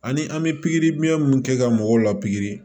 Ani an bɛ pikiriminɛn min kɛ ka mɔgɔw la pikiri